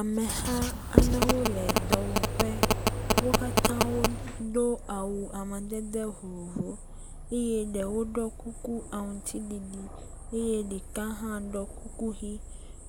Ameha aɖewo le dɔwɔƒe, wo katã wodo awu amadede vovovowo, eye ɖewo ɖɔ kuku aŋuti ɖiɖi eye ɖeka hã ɖɔ kuku ʋɛ̃,